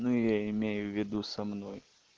ну я имею в виду со мной